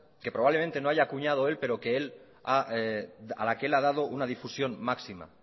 que probablemente no haya acuñado él pero a la que él ha dado una difusión máxima